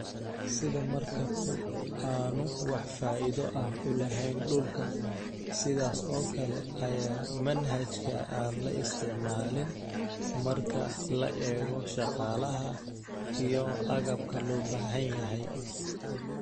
Sida markabku aanu wax faa'iido ah u lahayn dhulka, sidaas oo kale ayaa manhajka aan la isticmaalin marka la eego shaqaalaha iyo agabka loo baahan yahay.